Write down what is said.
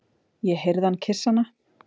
Ég heyrði hann kyssa hana.